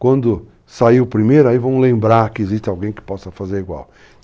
Quando sair o primeiro, aí vamos lembrar que existe alguém que possa fazer igual.